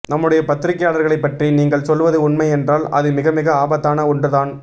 நம்முடைய பத்திரிக்கையாளர்களைப்பற்றி நீங்கள் சொல்வது உண்மை என்றால் அது மிகமிக ஆபத்தான ஒன்றுதான்